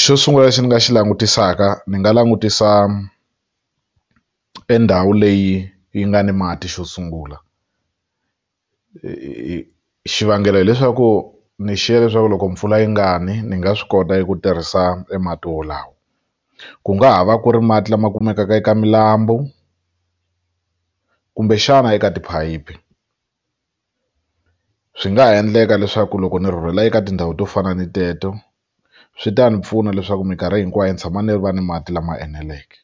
Xo sungula lexi ni nga xi langutisaka ndzi nga langutisa e ndhawu leyi yi nga ni mati xo sungula xivangelo hileswaku ni xiye leswaku loko mpfula yi nga ni ni nga swi kota ku tirhisa e mati wolawo ku nga ha va ku ri mati lama kumekaka eka milambu kumbexana eka tiphayiphi swi nga ha endleka leswaku loko ni rhurhela eka tindhawu to fana ni teto swi ta ni pfuna leswaku mikarhi hinkwayo ni tshama ni va ni mati lama eneleke